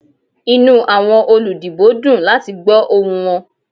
Inu awọn oludibo dun lati gbọ ohun wọn.